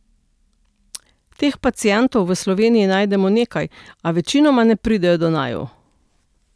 Teh pacientov v Sloveniji najdemo nekaj, a večinoma ne pridejo do naju.